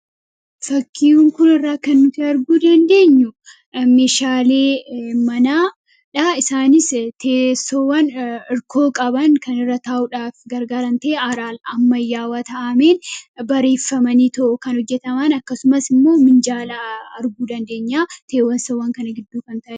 Fakkii kana irraa kan nuti arguu dandeenyu, meeshaalee manaadhaa. Isaanis teessowwan hirkoo qaban kan irra ta'uudhaaf gargaaran ta'ee haalaa ammayyaawa ta'ee bareeffamaniitoo kan hojjataman akkasumas immoo minjaalaa arguu dandeenya, teessoowwan kana gidduu kan ta'e.